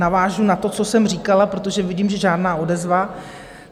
Navážu na to, co jsem říkala, protože vidím, že žádná odezva.